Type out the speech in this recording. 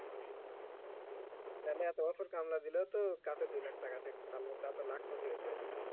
তালে এতো বছর কামরা দিলেও তো কাছে দুই লাখ টাকা থাকত তালে তো লাখ পতি হইতে পারতাম